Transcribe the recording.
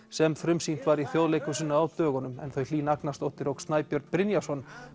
sem frumsýnt var í Þjóðleikhúsinu á dögunum en þau Hlín Agnarsdóttir og Snæbjörn Brynjarsson